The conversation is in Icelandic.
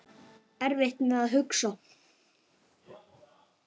Erfitt með að hugsa.